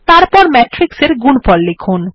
তারপর ম্যাট্রিক্স এর গুণফল লিখুন